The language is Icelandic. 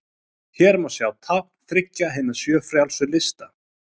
Hér má sjá tákn þriggja hinna sjö frjálsu lista.